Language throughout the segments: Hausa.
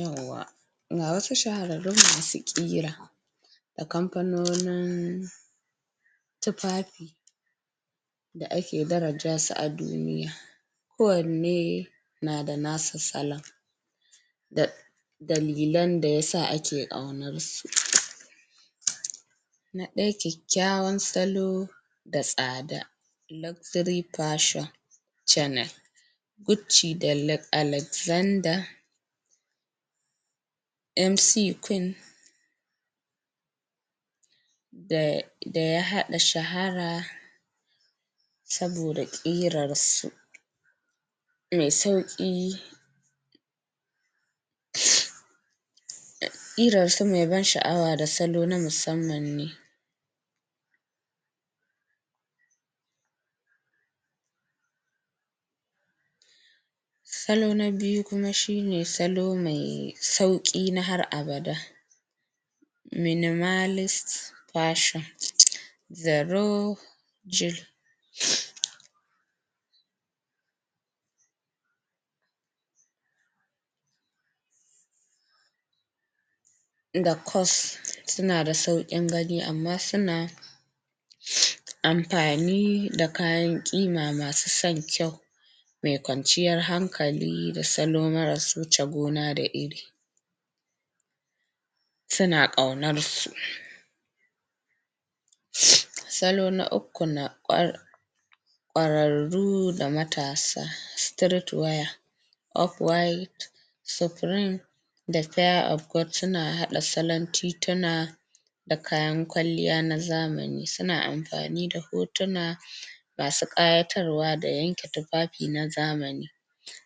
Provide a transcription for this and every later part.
Yauwa ga wasu shahararrun masu ƙira akamfanonin tufafi da ake darajasu a duniya ko wanne nada nasa salon um da dalilan dayasa ake aunansu na daya kyekykyawan salo da tsada luxury fashion chanel guci da alexander mc queen da da ya haɗa shahara saboda ƙirarsu me sauki ?[ ]ƙirarsu me ban shi awa da salo na musamman ne salo na biyu kuma shine salo me sauki na har abada minimalist version zero da kos suna da sauƙin gani amma suna amfani da kayan ƙima masu son kyau me kwanciyan hankali da salo na masu wuce gona da iri suna ƙaunar su salo na uku kwararru da matasa street wire up wide supreme da fear of God suna haɗa salon titina da kayan kwalliya na zamani suna amfani da hotuna masu ƙayatarwa da yanke tufafi na zamani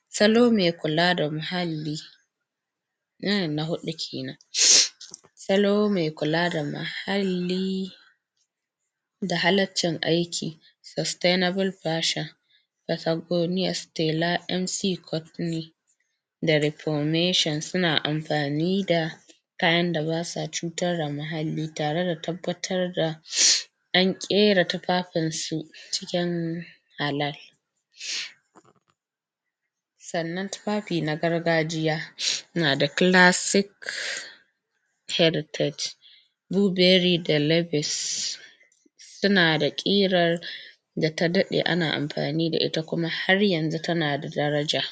salo me kula da muhalli nan na huɗu kenan salo me kula da muhalli da halalcin aiki sustainable version Stella mc da reformation suna amfani da kayan da basa cutar da muhalli tare da tabbatar da an ƙera tufafunsu acikin halal sannan tufafi na gargajiya nada classic heritage blueberry da sunada ƙirar da tadaɗe kuma ana amfanida ita kuma har yanzu tana da tanada daraja.